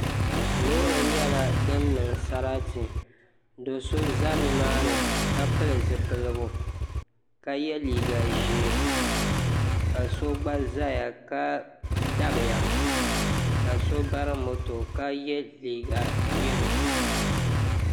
Loori nyɛla din niŋ sarati do so ʒɛ nimaani ka pili zipiligu ka yɛ liiga ʒiɛ ka so gba ʒɛya ka dabiya ka so bari moto ka yɛ liiga yɛlo